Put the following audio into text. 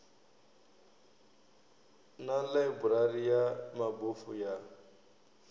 na ḽaiburari ya mabofu ya